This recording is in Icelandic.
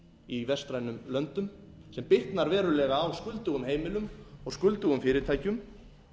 í vestrænum löndum sem bitnar verulega á skuldugum heimilum og skuldugum fyrirtækjum